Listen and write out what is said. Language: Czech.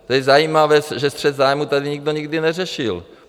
To je zajímavé, že střet zájmů tady nikdo nikdy neřešil.